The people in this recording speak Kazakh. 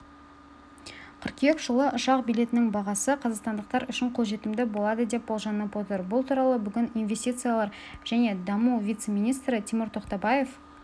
қыркүйек жылы ұшақ билетінің бағасы қазақстандықтар үшін қолжетімді болады деп болжанып отыр бұл туралы бүгін инвестициялар және даму вице-министрі тимур тоқтабаев